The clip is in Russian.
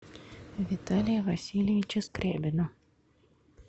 виталия васильевича скрябина